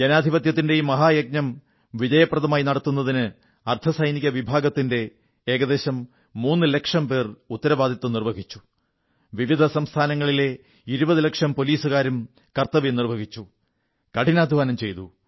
ജനാധിപത്യത്തിന്റെ ഈ മഹായജ്ഞം വിജയപ്രദമായി നടത്തുന്നതിന് അർധസൈനിക വിഭാഗങ്ങളുടെ ഏകദേശം 3 ലക്ഷം അംഗങ്ങൾ ഉത്തരവാദിത്വം നിർവ്വഹിച്ചു വിവിധ സംസ്ഥാനങ്ങളിലെ 20 ലക്ഷം പോലീസുകാരും കർത്തവ്യം നിർവ്വഹിച്ചു കഠിനാധ്വാനം ചെയ്തു